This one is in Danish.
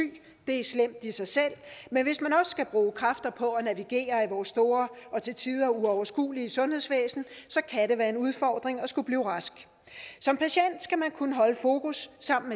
det er slemt i sig selv men hvis man også skal bruge kræfter på at navigere i vores store og til tider uoverskuelige sundhedsvæsen kan det være en udfordring at skulle blive rask som patient skal man kunne holde fokus sammen